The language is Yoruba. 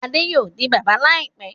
Adé yóò di bàbá láìpẹ́.